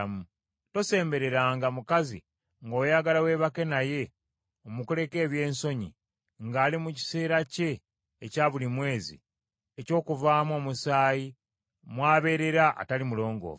“ ‘Tosembereranga mukazi ng’oyagala weebake naye omukoleko ebyensonyi ng’ali mu kiseera kye ekya buli mwezi eky’okuvaamu omusaayi mw’abeerera atali mulongoofu.